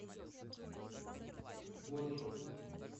борщ